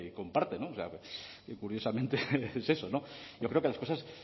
comparte no o sea que curiosamente es eso no yo creo que las cosas